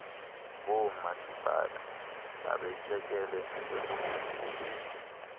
boomasipala babetyekele ekudluliseleni